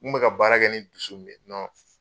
N kun be ka baara kɛ ni dusu min ye nɔn